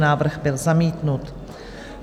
Návrh byl zamítnut.